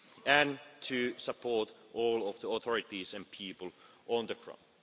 and to support all of the authorities and people on the ground.